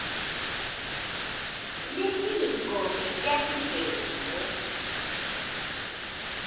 litiko letemvelo